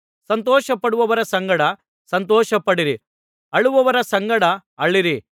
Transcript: ಸಂತೋಷಪಡುವವರ ಸಂಗಡ ಸಂತೋಷಪಡಿರಿ ಅಳುವವರ ಸಂಗಡ ಅಳಿರಿ